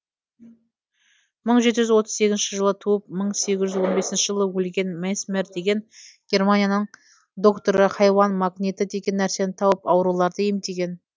мың жеті жүз отыз сегізінші жылы туып мың сегіз жүз он бесінші жылы өлген месмер деген германияның докторы хайуан магниті деген нәрсені тауып ауруларды емдеген